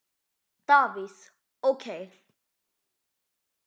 Davíð OK.